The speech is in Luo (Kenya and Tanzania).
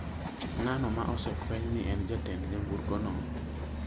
Ng'ano ma osefweny ni en jatend nyamburkono